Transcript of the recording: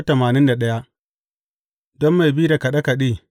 Don mai bi da kaɗe kaɗe.